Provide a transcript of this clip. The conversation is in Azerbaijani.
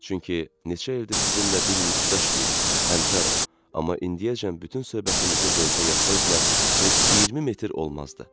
Çünki neçə ildir sizinlə bir institutda işləyirik, həmkarıq, amma indiyəcən bütün söhbətimizi lentə yazsaydılar, heç 20 metr olmazdı.